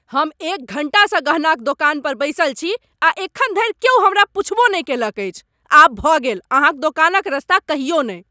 हम एक घंटासँ गहना क दोकान पर बैसल छी आ एखन धरि क्यौ हमरा पुछबो नहि कयलक अछि, आब भ गेल अहाँ क दोकान क रास्ता कहियो ने ।